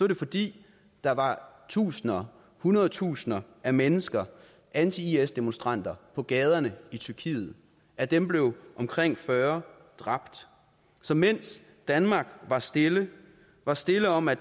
det fordi der var tusinder hundrede tusinder af mennesker anti is demonstranter på gaderne i tyrkiet af dem blev omkring fyrre dræbt så mens danmark var stille var stille om at